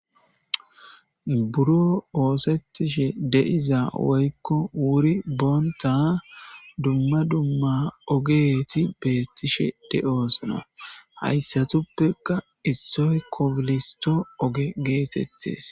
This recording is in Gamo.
Buro ooththetish de'iza Woyko wuri bonita Duma Duma ogeti Betishe de'osona haysatupeka isoy kobilisto Oge getetiya